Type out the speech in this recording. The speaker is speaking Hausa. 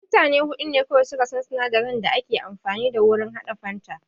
Mutane huɗu ne kawai suka san duka sinadarin da ake amfani da wurin haɗa fanta